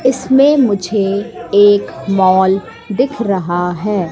इसमें मुझे एक मॉल दिख रहा है।